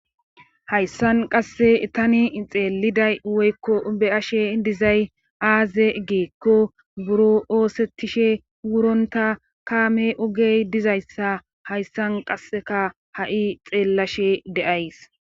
Hayssan qasse taani xeeliday woykko be7ashe dizay aaze giikko buro oosettishe wurontta kaame ogey dizayssa hayssan qasseka ha7i xeellashe de7ays